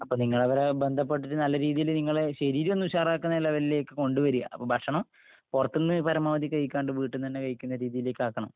അപ്പൊ നിങ്ങളവരെ ബന്ധപ്പെട്ടിട്ട് നല്ലരീതിയില് നിങ്ങളെ... ശരീരം ഒന്ന് ഉഷാറാക്കുന്ന ലെവലിലേയ്ക്ക് കൊണ്ടുവരിക. അപ്പൊ ഭക്ഷണം.... പുറത്തുന്ന് പരമാവധി കഴിക്കാണ്ട് വീട്ടിൽ നിന്ന് തന്നെ കഴിക്കുന്ന രീതിയിലേക്ക് ആക്കണം..